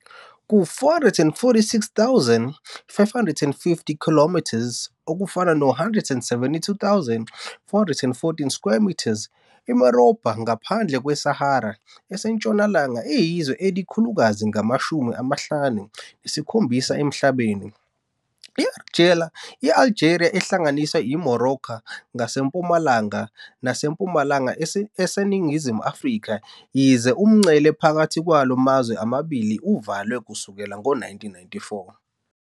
Ku-446,550 km2, 172,414 sq mi, iMorobha ngaphandle kweSahara eseNtshonalanga iyizwe elikhulukazi ngamashumi amahlanu nesikhombisa emhlabeni. I-Algeria ihlanganisa iMorocco ngasempumalanga nasempumalanga eseningizimu, yize umngcele phakathi kwala mazwe amabili uvaliwe kusukela ngo-1994.